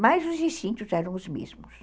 Mas os instintos eram os mesmos.